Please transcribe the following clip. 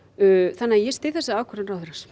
þannig að ég styð þessa ákvörðun ráðherrans